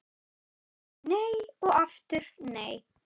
Nei og aftur nei